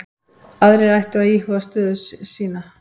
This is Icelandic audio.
Aðrir ættu að íhuga sína stöðu